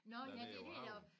Nåh ja det er dér